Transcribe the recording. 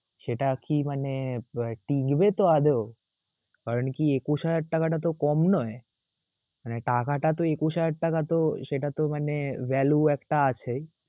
সেটাকি মানে TV তো আদৌ? কারনকি একুশ হাজার টাকা তাতো কম নয়. মানে টাকাটা তো একুশ হাজার টাকা তো সেটার তো মানে value একটা আছেই.